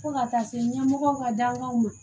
Fo ka taa se ɲɛmɔgɔw ka dankanw ma